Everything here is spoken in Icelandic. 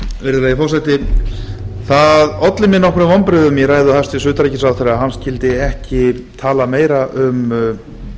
virðulegi forseti það olli mér nokkrum vonbrigðum í ræðu hæstvirts utanríkisráðherra að hann skyldi ekki tala meira um